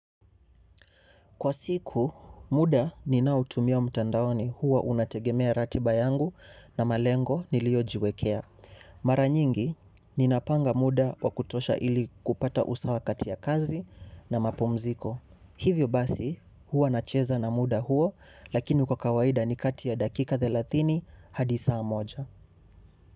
Kwa siku, muda ninautumia mtandaoni huwa unategemea ratiba yangu na malengo niliojiwekea. Mara nyingi ninapanga muda wa kutosha ili kupata usawa kati ya kazi na mapumziko. Hivyo basi, huwa na cheza na muda huo, lakini kwa kawaida ni katia dakika thelathini hadi saa moja.